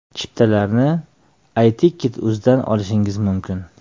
Chiptalarni Iticket.uz ’dan olishingiz mumkin.